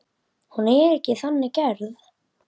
Hún er ekki þannig gerð.